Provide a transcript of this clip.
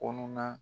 Kɔnɔna